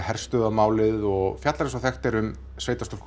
herstöðvarmálið og fjallar eins og þekkt er um